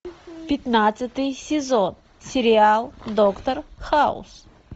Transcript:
пятнадцатый сезон сериал доктор хаус